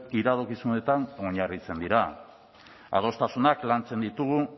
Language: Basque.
iradokizunetan oinarritzen dira adostasunak lantzen ditugu